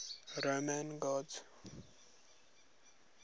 roman gods